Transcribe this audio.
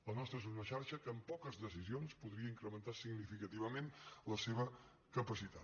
la nostra és una xarxa que amb poques decisions podria incrementar significativament la seva capacitat